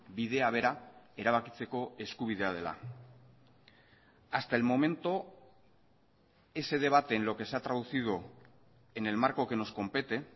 bidea bera erabakitzeko eskubidea dela hasta el momento ese debate en lo que se ha traducido en el marco que nos compete